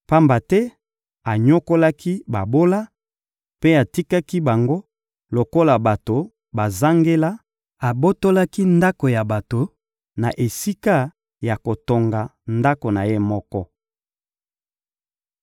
Pamba te anyokolaki babola mpe atikaki bango lokola bato bazangela, abotolaki ndako ya bato na esika ya kotonga ndako na ye moko.